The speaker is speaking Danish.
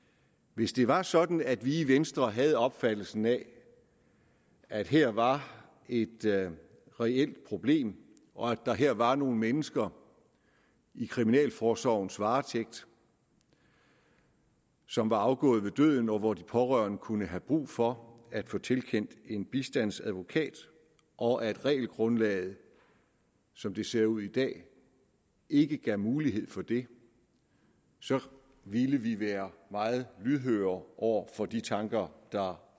hvis det var sådan at vi i venstre havde opfattelsen af at her var et reelt problem og at der her var nogle mennesker i kriminalforsorgens varetægt som var afgået ved døden hvor de pårørende kunne have brug for at få tilkendt en bistandsadvokat og at regelgrundlaget som det ser ud i dag ikke gav mulighed for det så ville vi være meget lydhøre over for de tanker der